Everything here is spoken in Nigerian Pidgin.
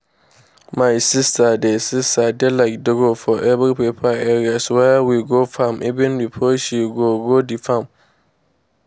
my sister dey sister dey like draw for paper areas wey we go farm even before she go-go the farm.